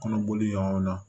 Kɔnɔboli yɔrɔw la